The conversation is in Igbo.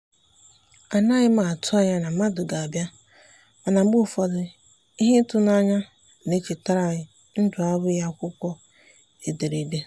anaghị m atụ anya na mmadụ ga-abịa mana mgbe ụfọdụ ihe ịtụnanya na-echetara anyị ndụ abụghị akwụkwọ edere ede.